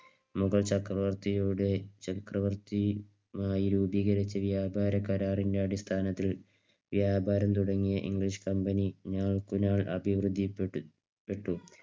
മുഗൾ ചക്രവർത്തിയുടെ ചക്രവർത്തിയുമായി രൂപീകരിച്ച വ്യാപാര കരാറിന്റെ അടിസ്ഥാനത്തിൽ വ്യാപാരം തുടങ്ങിയ English Company നാൾക്കുനാൾ അഭിവൃദ്ധിപ്പെട്ടു. പ്പെട്ടു